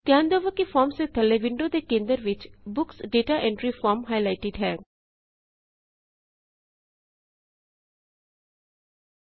ਧਿਆਨ ਦਵੋ ਕਿ ਫੋਰਮਸ ਦੇ ਥੱਲੇ ਵਿੰਡੋ ਦੇ ਕੇੰਦਰ ਵਿਚ books data entry form highlighted ਹੈੈ